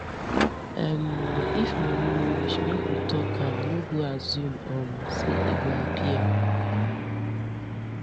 um if money no reach make we talk am no go assume um say e go appear